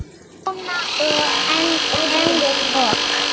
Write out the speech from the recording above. Jóna og Enok.